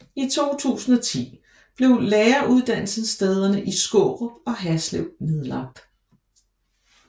I 2010 blev læreruddannelsesstederne i Skårup og Haslev nedlagt